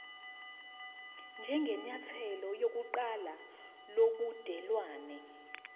njengenyathelo lokuqala lobudelwane